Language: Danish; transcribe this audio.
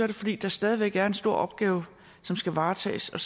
det fordi der stadig væk er en stor opgave som skal varetages og